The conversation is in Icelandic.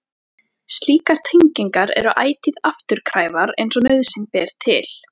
Slíkar tengingar eru ætíð afturkræfar eins og nauðsyn ber til.